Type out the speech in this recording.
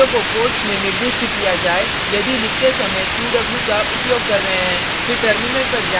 यह जरूरी नहीं है कि शब्दों को कोट्स में निर्दिष्ट किया जाय यदि लिखते समय qw का उपयोग कर रहे हैं